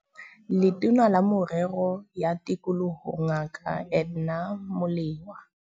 Letona la Merero ya Tikoloho Ngaka Edna Molewa